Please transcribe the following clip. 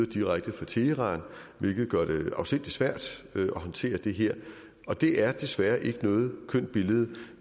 direkte fra teheran hvilket gør det afsindig svært at håndtere og det er desværre ikke noget kønt billede